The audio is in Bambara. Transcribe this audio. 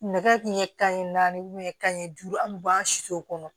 Nɛgɛ tun ye kanɲɛ naani ka kan ɲɛ duuru an bɛ bɔ an siw kɔnɔ